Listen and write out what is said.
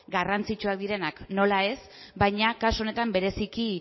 garrantzitsuak direnak nola ez baina kasu honetan bereziki